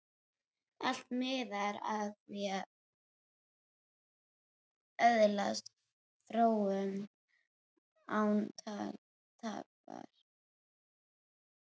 Allt miðar að því að öðlast fróun, án tafar.